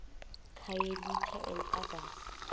khayelitsha and others